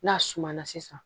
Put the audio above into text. N'a suma na sisan